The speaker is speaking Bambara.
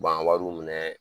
U b'an wariw minɛ